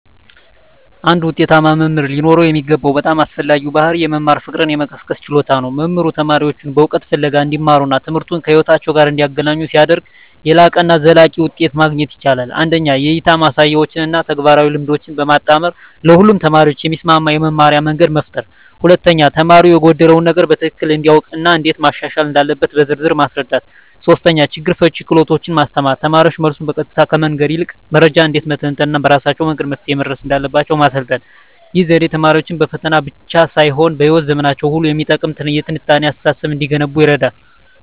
አንድ ውጤታማ መምህር ሊኖረው የሚገባው በጣም አስፈላጊው ባሕርይ የመማር ፍቅርን የመቀስቀስ ችሎታ ነው። መምህሩ ተማሪዎቹን በእውቀት ፍለጋ እንዲመሩና ትምህርቱን ከሕይወታቸው ጋር እንዲያገናኙ ሲያደርግ፣ የላቀና ዘላቂ ውጤት ማግኘት ይቻላል። 1) የእይታ ማሳያዎችን እና ተግባራዊ ልምምዶችን በማጣመር ለሁሉም ተማሪዎች የሚስማማ የመማርያ መንገድ መፍጠር። 2)ተማሪው የጎደለውን ነገር በትክክል እንዲያውቅ እና እንዴት ማሻሻል እንዳለበት በዝርዝር ማስረዳት። 3)ችግር ፈቺ ክህሎቶችን ማስተማር: ተማሪዎች መልሱን በቀጥታ ከመንገር ይልቅ መረጃን እንዴት መተንተን እና በራሳቸው ወደ መፍትሄው መድረስ እንደሚችሉ ማሰልጠን። ይህ ዘዴ ተማሪዎች በፈተና ብቻ ሳይሆን በሕይወት ዘመናቸው ሁሉ የሚጠቅም የትንታኔ አስተሳሰብ እንዲገነቡ ይረዳል።